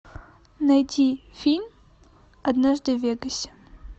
найти фильм однажды в вегасе